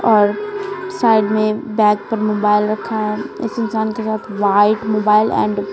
और साइड में बैग पर मोबाइल रखा है इस इंसान के साथ वाइट मोबाइल एंड --